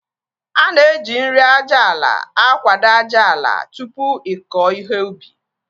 Ana eji nri aja ala akwado ájáala tupu ịkọ ihe ubi